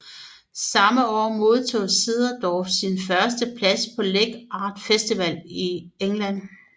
Samme år modtog Cederdorff en første plads på Leek Art Festival i England